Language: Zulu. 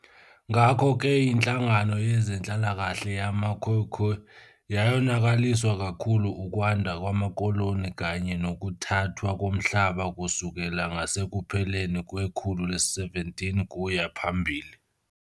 Ngakho-ke inhlangano yezenhlalakahle yama-"Khoekhoe" yonakaliswa kakhulu ukwanda kwamakoloni kanye nokuthathwa komhlaba kusukela ngasekupheleni kwekhulu le-17 kuya phambili.